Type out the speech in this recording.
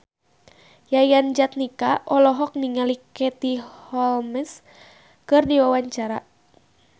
Yayan Jatnika olohok ningali Katie Holmes keur diwawancara